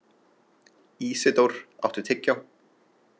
Ísidór, áttu tyggjó?